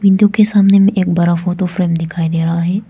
जोकि सामने में एक बड़ा फोटो फ्रेम दिखाई दे रहा है।